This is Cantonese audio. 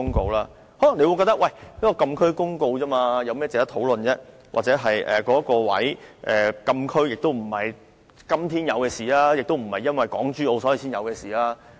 大家可能會認為，這項有關禁區的公告不值得討論，或認為禁區不是今天才設立，也不是因為港珠澳大橋才設立。